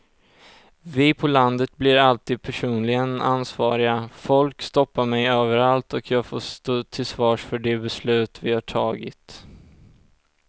Vi på landet blir alltid personligen ansvariga, folk stoppar mig överallt och jag får stå till svars för de beslut vi har tagit.